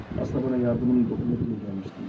Əslində mənə yardımın toxunar deyə gəlmişdim.